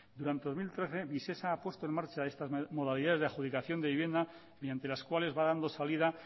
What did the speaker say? durante dos mil trece visesa ha puesto en marcha estas modalidades de adjudicación de vivienda mediante las cuales va dando salida